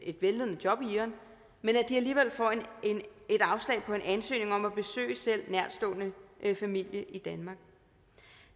et vellønnet job i iran alligevel får et afslag på en ansøgning om at besøge selv nærtstående familie i danmark